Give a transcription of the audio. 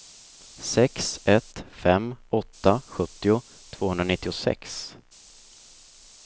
sex ett fem åtta sjuttio tvåhundranittiosex